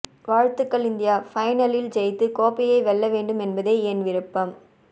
வாழ்த்துக்கள் இந்தியா பைனலில் ஜெய்த்து கோப்பையை வெல்லவேண்டும் என்பதே என் விருப்பம்